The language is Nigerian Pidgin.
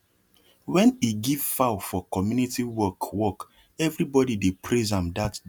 when he give fowl for community work work everybody dey praise am that day